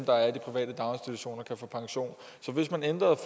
der er i de private daginstitutioner kan få pension så hvis man ændrede